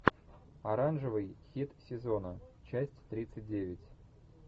оранжевый хит сезона часть тридцать девять